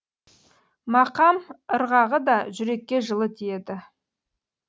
мақам ырғағы да жүрекке жылы тиеді